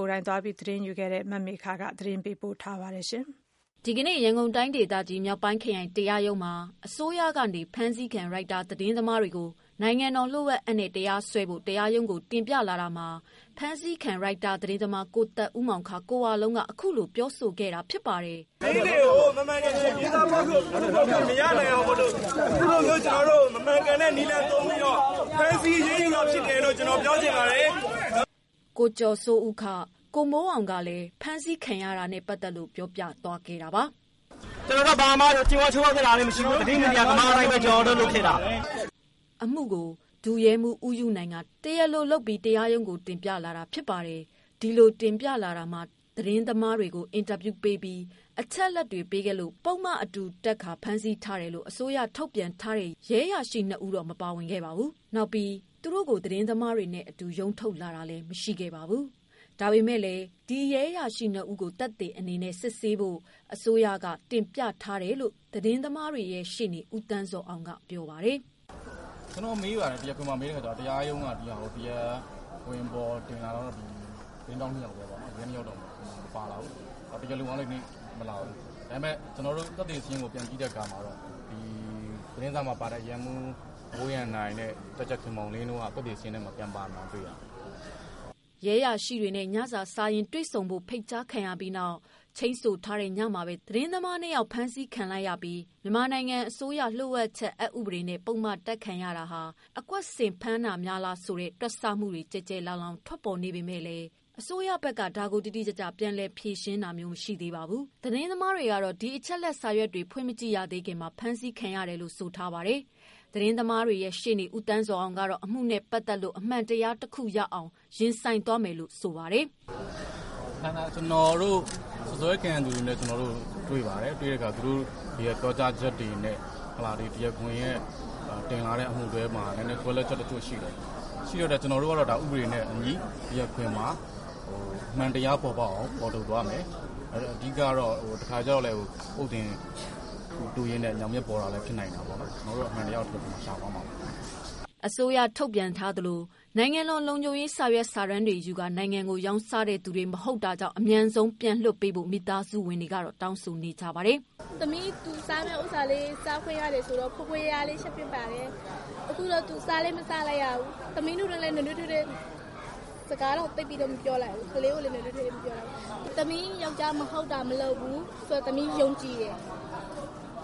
ိုယ်တိုင်သွားရောက်မေးမြန်းခဲ့တဲ့ သတင်းထောက်မေခ ကပြောပြမှာပါ။ ဒီကနေ့ ရန်ကုန်တိုင်းဒေသကြီး မြောက်ပိုင်းခရိုင်တရားရုံးမှာ အစိုးရဘက်ကနေ ဖမ်းဆီးခံ ရိုက်တာ သတင်းသမား တွေကို နိုင်ငံတော်လ ျှို့ဝှက်အက်နဲ့ တရားစွဲဖို့ တရားရုံးကိုတင်ပြလာ တာမှာဖမ်းဆီးခံ ရိုက်တာသတင်းသမား ကို သက်ဦးမောင် ကိုဝလုံးဘက်က အခုလိုပြောဆိုလိုက်တာပါ။ “သတင်းတွေကို မှန်မှန်ကန်ကန်ရေးသားပြောဆိုခွင့်မရနိုင်အောင်လို့ အခုလိုမျိုး ကျနော်တို့ကို မမှန်ကန်တဲ့ နည်းလမ်းသုံးပြီးတော့ ဖမ်းဆီးအရေးယူတာဖြစ်တယ်လို့ ကျနော်ပြောချင်ပါတယ်။" ကိုကျော်စိုးဦး ကိုမိုးအောင် ကလည်း ဖမ်းဆီးခံရတာနဲ့ပတ်သတ်လို့ ပြောပြလာခဲ့တာဖြစ်ပါတယ်။ “ကျနော်တို့ဘာမှ ချိုးဖောက်ခဲ့တာလည်းမရှိဘူး သတင်းမီဒီယာသမားအလုပ်ပဲ ကျနော်တို့လုပ်ခဲ့တာ။” အမှုကို ဒုရဲမှုး ဦးယုနိုင်က တရားလိုလုပ်ကာ တရားရုံးကို တင်ပြလာတာ ဖြစ်ပြီးဒီလို တင်ပြလာတာမှာသတင်းသမား တွေကို အင်တာဗျူးပေးပြီး အချက်အလက်တွေ ပေးခဲ့လို့ ပုဒ်မအတူတပ်ကာ ဖမ်းဆီးထားတယ်လို့ အစိုးရ ထုတ်ပြန် ထားတဲ့ ရဲအရာရှိ ၂ဦးမပါပါဘူး။ ဒီပြင် သူတို့ကို သတင်းသမားတွေနဲ့အတူ ရုံးထုတ်လာတာ လဲမရှိခဲ့ပါဘူး။ ဒါပေမယ့် လည်း ဒီရဲ၂ဦးကို သက်သေ အနေနဲ့ စစ်ဆေးနိုင်ဖို့ အစိုးရဘက်က တင်ပြလာတယ်လို့ သတင်းသမားတွေရဲ့ ရှေ့နေ ဦးသန်းဇော်အောင် ကပြောပါတယ်။ “ကျနော်မေးပါတယ် တရားခွင်မှာ မေးတဲ့အခါကျတော့ တရားရုံးက ဒီဟာကို တရားခွင်မှာတင်လာတော့ ရဲ ၂ ယောက်က ပါမလာဘူး တရားလိုလည်း ဒီနေ့မလာဘူး။ ဒါပေမယ့် ကျနော်တို့ သက်သေစာရင်းကို ပြန်ကြည့်တဲ့အခါမှာတော့ သတင်းစာမှာပါတဲ့ ရဲမှူး မိုးရန်နိုင်နဲ့ တပ်ကြပ်ခင်မောင်လင်း တို့က သက်သေစာရင်းထဲမှာ ပြန်ပါမလာတာတွေ့ရတယ်။” ရဲတာဝန်ရှိသူတွေနဲ့ ညစာစားရင်းတေ့ွဆုံဖို့ ဖိတ်ကြားခံရပြီးနောက် ချိန်းဆိုထားတဲ့ညမှာပဲ သတင်းထောက် ၂ ယောက် ဖမ်းဆီးခံလိုက်ရပြီး မြန်မာနိုင်ငံအစိုးရ လျှို့ဝှက်ချက် အက်ဥပဒေနဲ့ ပုဒ်မတပ်ခံရတာဟာ အကွက်ဆင်တာ များ လား ဆိုတဲ့ တွက်ဆမှုတွေလည်း ကျယ်ကျယ်လောင်လောင်ထွက်ပေါ်နေပေမယ့် အစိုးရ ဘက်ကလည်း ဒါကို တိတိကျကျ ထုတ်ဖော်ပြောဆိုတာမရှိပါဘူး။ သတင်းသမားတွေကတော့ ဒီအချက်အလက်စာရွက်တွေ ဖွင့်မကြည့်ရသေးခင် အဖမ်းခံရတယ်လို့ ဆိုထားပါတယ်။ သတင်းသမားတွေရဲ့ ရှေ့နေ ဦးသန်းဇော်အောင်ကတော့ အမှုနဲ့ပတ်သတ်လို့ အမှန်တရားတခုရအောင် ရင်ဆိုင်သွား မယ်လို့ ပြောလိုက်ပါတယ်။ “စွပ်စွဲခံရသူနဲ့ ကျနော်တို့တွေ့ပါတယ်။ တွေ့တဲ့အခါ သူတို့တွေရဲ့ ပြောကြားချက်တွေနဲ့ တရားခွင်ရဲ့ တင်လာတဲ့ အမှုတွဲမှာ နည်းနည်းကွဲလွဲချက်တချို့ရှိတယ်။ ရှိတော့ ကျနော်တို့က ဥပဒေနဲ့အညီ တရားခွင်မှာ အမှန်တရားပေါ်ပေါက်အောင် ဖော်ထုတ်သွားမယ် အဓိကတော့ တခါတလေကျတော့လည်း ပုတ်သင်ဥတူးရင်း ညောင်မြစ်ပေါ်တာလည်း ဖြစ်နိုင်တာပေါ့နော် ကျနော်တို့ကတော့ အမှန်တရားကို ရှာသွားမှာပါ။” အစိုးရ ထုတ်ပြန်သလို နိုင်ငံတော် လုံခြုံရေး စာရွက်စာတမ်း တွေရယူကာ နိုင်ငံကို ရောင်းစားတဲ့သူတွေ မဟုတ် တာ ကြောင့် အမြန်ဆုံးလွှတ်ပေးဖို့ မိသားစုဝင်တွေကတော့ တောင်းဆိုနေကြပါတယ်။ “သမီး သူစားမယ့်ဥစ္စာလေး စားခွင့်ရမယ်ဆိုတော့ ဖွယ်ဖွယ်ရာရာလေး ချက်ပေးပါတယ်။ အခုတော့ သူစားလည်းမစားလိုက်ရဘူး။ သမီးတို့တွေနဲ့ လည်း နွေးနွေးထွေးထွေး စကားတောင်သိပ်ပြီးမပြောလိုက်ဘူး။ ကလေးကိုလည်း နွေးနွေးထွေးထွေးမပြောလိုက်ရဘူး။ သမီးယောကျ်ားက မဟုတ်တာမလုပ်ဘူးဆိုတာ သမီးယုံကြည်တယ်၊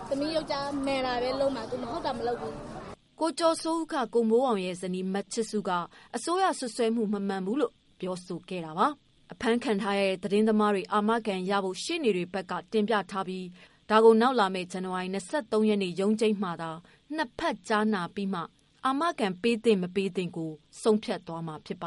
သမီးယောကျ်ားက မှန်တာပဲ လုပ်မှာ မဟုတ်တာ မလုပ်ဘူး။” ကိုကျော်စိုးဦး ကိုမိုးအောင်ဇနီး မချစ်စု က အစိုးရစွပ်စွဲမှုမမှန်ဘူးလို့ပြောခဲ့တာပါ။ အဖမ်းခံထားရတဲ့ သတင်းသမားတွေ အာမခံရ ဖို့ ရှေ့နေတွေ ဘက်က တင်ပြထားပြီး ဒါကို နောက်လာမယ့် ဇန်နဝါရီ ၂၃ရက်နေ့ ရုံးချိန်းမှသာ ၂ဖက်ကြားနာပြီးမှသာ အာမခံရမရ ဆုံးဖြတ်မှာဖြစ်ပါ